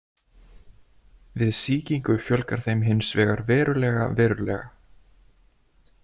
Við sýkingu fjölgar þeim hins vegar verulega verulega.